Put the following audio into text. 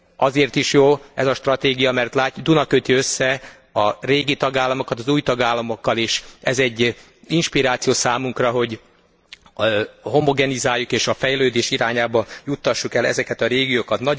Azért is jó ez a stratégia, mert a Duna köti össze a régi tagállamokat az új tagállamokkal, és ez egy inspiráció számunkra, hogy homogenizáljuk és a fejlődés irányába juttassuk el ezeket a régiókat.